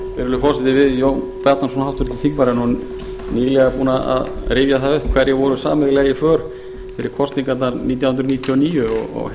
virðulegur forseti við jón bjarnason háttvirtur þingmaður erum nýlega búnir að rifja það upp hverjir voru sameiginlega í för fyrir kosningarnar nítján hundruð níutíu og níu og